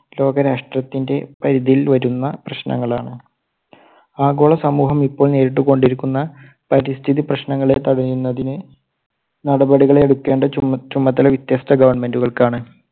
ലോകരാഷ്ട്രത്തിന്റെ പരിധിയിൽ വരുന്ന പ്രശ്നങ്ങളാണ്. ആഗോള സമൂഹം ഇപ്പോൾ നേരിട്ടുകൊണ്ടിരിക്കുന്ന പരിസ്ഥിതി പ്രശ്നങ്ങളെ തടയുന്നതിന് നടപടികൾ എടുക്കേണ്ട ചു~ചുമതല വ്യത്യസ്ഥ government കൾക്കാണ്.